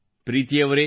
ಪ್ರೀತಿ ಅವರೇ